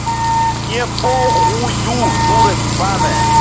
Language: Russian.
мне похую дура ебаная